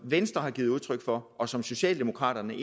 venstre har givet udtryk for og som socialdemokraterne